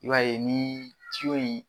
I b'a ye ni tiyo nin